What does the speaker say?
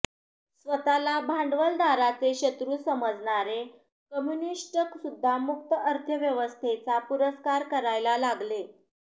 स्वतःला भांडवलदाराचे शत्रू समजणारे कम्युनिष्ट सुध्दा मुक्त अर्थव्यवस्थेचा पुरस्कार करायला लागले